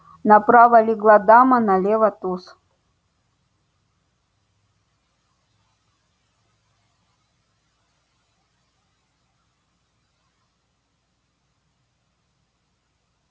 направо легла дама налево туз